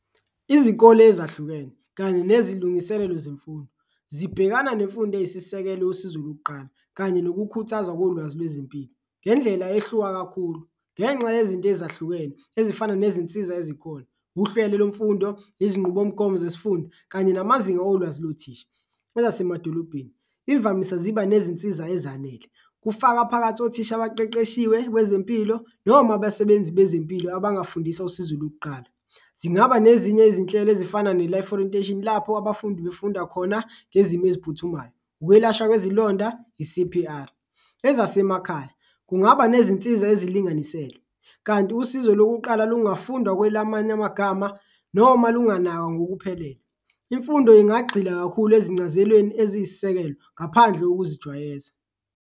Izikole ezahlukene kanye nezilungiselelo zemfundo zibhekana nemfundo eyisisekelo yosizo lokuqala kanye nokukhuthazwa kolwazi lwezempilo ngendlela ehluka kakhulu ngenxa yezinto ezahlukene ezifana nezinsiza ezikhona, uhlelo lwemfundo, izinqubomgomo zesifunda kanye namazinga olwazi lothisha. Kwezasemadolobheni imvamisa ziba nezinsiza ezanele, kufaka phakathi othisha abaqeqeshiwe kwezempilo noma abasebenzi bezempilo abangafundisa usizo lokuqala. Zingaba nezinye ezinhlelo ezifana ne-Life Orientation lapho abafundi befunda khona ngezimo eziphuthumayo, ukwelashwa kwezilonda, i-C_P_R. Ezasemakhaya kungaba nezinsiza ezilinganiselwe kanti usizo lokuqala lungafundwa kwelamanye amagama noma lunganakwa ngokuphelele, imfundo ingagxila kakhulu ezincazelweni eziyisisekelo ngaphandle kokuzijwayeza.